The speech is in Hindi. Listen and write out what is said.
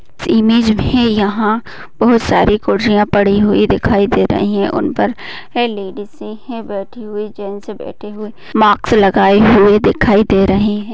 इमेज में यहाँ बहोत सारी कुर्सियाँ पड़ी हुई दिखाई दे रही है। उनपर है लेडीसे है बैठी हुई गेंट्स बैठे हुए मास्क लगाए हुए दिखाई दे रहे है।